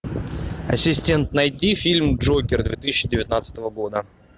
ассистент найди фильм джокер две тысячи девятнадцатого года